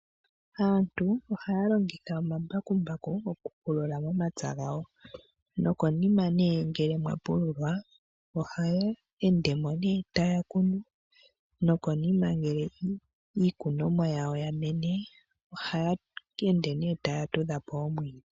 Aantun ohaya longitha omambakumbaku oku pulula omapya gawo, nokonima nee ngele mwa pululwa, ohaya endemo nee taya kunu, nokonima ngele iikunomwa yawo ya mene ohaya ende nee taya tudha po oomwiidhi.